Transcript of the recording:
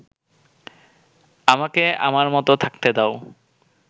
আমাকে আমার মত থাকতে দাও